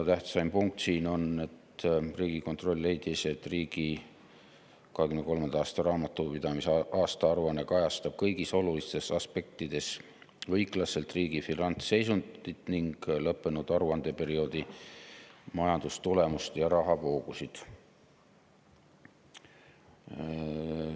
Tähtsaim punkt siin on, et Riigikontroll leidis, et riigi 2023. aasta raamatupidamise aastaaruanne kajastab kõigis olulistes aspektides õiglaselt riigi finantsseisundit ning lõppenud aruandeperioodi majandustulemust ja rahavoogusid.